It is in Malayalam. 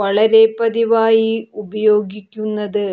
വളരെ പതിവായി ഉപയോഗിക്കുന്നത്